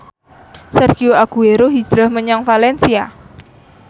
Sergio Aguero hijrah menyang valencia